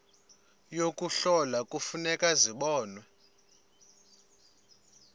yokuhlola kufuneka zibonwe